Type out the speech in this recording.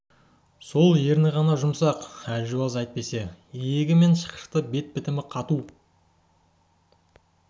сол ерні ғана жұмсақ әлжуаз әйтпесе иегі мен шықшыты бет бітімі қату